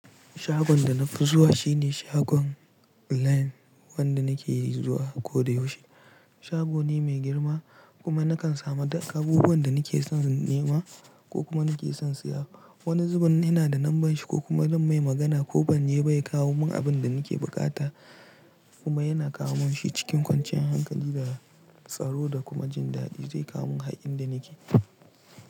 Shagon da na fi zuwa shine shagon line wanda nake zuwa ko da yaushe. Shago ne mai girma kuma nakan samu duk abubuwan da nake son nema ko kuma nake son siya. Wani zubin ina da lambar shi ko kuma zan mai magana ko ban je ba ya kawo mun abun da nake buƙata. Kuma yana kawo mun shi cikin kwanciyar hankali da tsaro da kuma jin dadi. Zai kawo mun har in da nike.